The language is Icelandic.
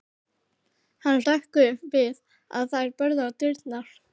Hann hrökk upp við að þeir börðu á dyrnar.